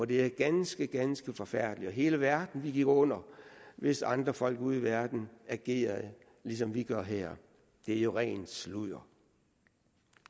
det er ganske ganske forfærdeligt og at hele verden ville gå under hvis andre folk ude i verden agerede ligesom vi gør her det er jo rent sludder